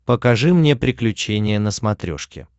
покажи мне приключения на смотрешке